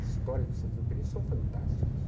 As histórias do Saint-Exupéry são fantásticas.